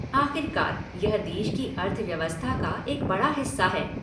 आख़िरकार, यह देश की अर्थव्यवस्था का एक बड़ा हिस्सा है।